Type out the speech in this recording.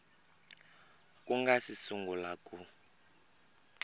ku nga si sungula ku